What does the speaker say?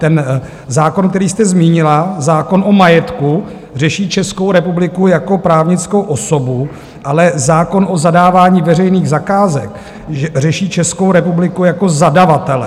Ten zákon, který jste zmínila, zákon o majetku, řeší Českou republiku jako právnickou osobu, ale zákon o zadávání veřejných zakázek řeší Českou republiku jako zadavatele.